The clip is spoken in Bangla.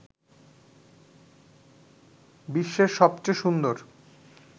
বিশ্বের সবচেয়ে সুন্দর